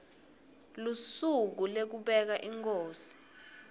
lusuku lekubeka inkhosi